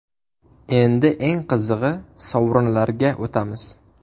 Endi eng qizig‘i, sovrinlarga o‘tamiz!